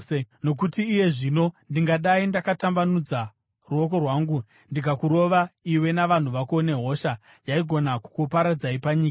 Nokuti iye zvino ndingadai ndakatambanudza ruoko rwangu ndikakurova iwe navanhu vako nehosha yaigona kukuparadzai panyika.